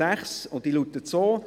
Diese Ziffer 6 lautet so: